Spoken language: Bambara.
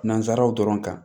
Nanzaraw dɔrɔn kan